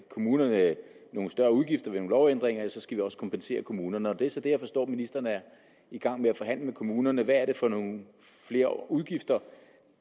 kommunerne nogle større udgifter ved nogle lovændringer skal vi også kompensere kommunerne det er så det som jeg forstår at ministeren er i gang med at forhandle med kommunerne hvad er det for nogle flere udgifter